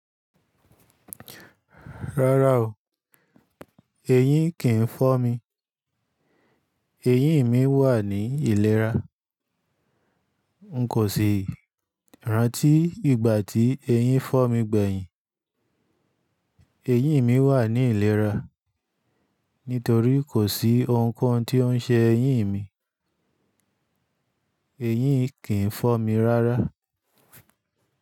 Rárá o, eyín kìn fọ́ mi. Eyín mi wà ní ìlera. N kò ṣe rántí ìgbà tí eyín fọ̀ mí gbẹ̀yìn. Eyín mi wà ní ìlera, nítorí kò sí ohun kan tí ó ń ṣe eyín mi. Eyín kìí fọ́ mi rárá.